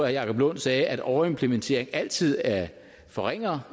jacob lund sagde at overimplementering altid forringer